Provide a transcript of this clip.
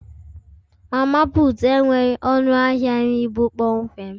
Mama putu enweghị ọnụ ahịa nri bụ kpọmkwem